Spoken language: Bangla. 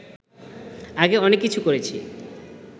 আগে অনেক কিছু করেছি